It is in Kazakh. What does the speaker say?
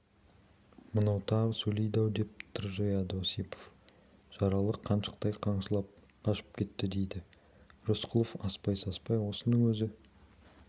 мынау тағы сөйледі-ау деп тыржияды осипов жаралы қаншықтай қаңсылап қашып кетті дейді рысқұлов аспай-саспай осының өзі